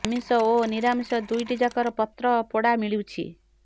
ଆମିଷ ଓ ନିରାମିଷ ଦୁଇଟି ଯାକର ପତ୍ର ପୋଡ଼ା ମିଳୁଛି